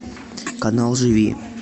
канал живи